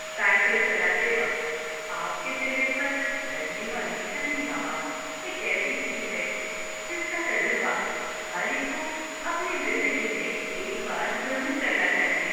Cycle چلاتے وقت آپ کے چہرے پر لگنے والی ٹھنڈی ہوا ایک ایسی چیز ہے جس کا تجربہ ہر ایک کو اپنی زندگی میں ایک بار ضرور کرنا چاہیے۔